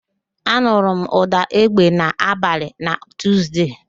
Ị nụrụ ụ̀dà égbè n'abalị na Tuuzde